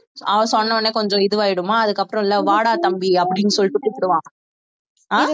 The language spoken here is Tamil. அவன் சொன்ன உடனே கொஞ்சம் இதுவாயிடுமாம் அதுக்கப்புறம் இல்ல வாடா தம்பி அப்படின்னு சொல்லிட்டு கூப்பிடுவான் அஹ்